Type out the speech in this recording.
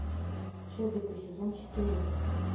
чобиты сезон четыре